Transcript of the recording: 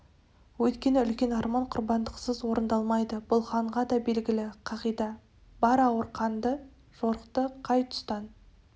өйткені үлкен арман құрбандықсыз орындалмайды бұл ханға да белгілі қағида бар ауыр қанды жорықты қай тұстан